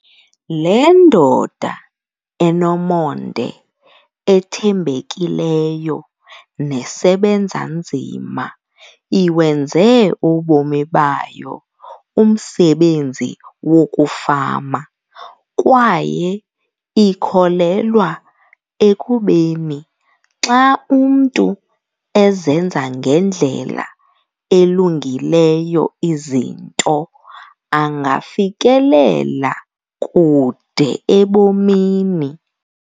Le ndoda enomonde, ethembekileyo nesebenza nzima iwenze ubomi bayo umsebenzi wokufama kwaye ikholelwa ekubeni xa umntu ezenza ngendlela elungileyo izinto angafikelela kude ebomini.